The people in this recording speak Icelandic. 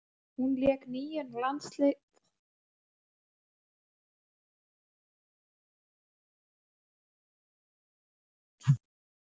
Hún lék níu landsleiki á árinu og skoraði í þeim sjö mörk.